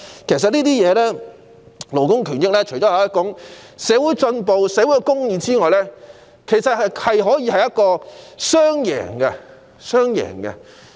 其實，勞工權益除可反映社會進步和社會公義外，還可以達致雙贏局面。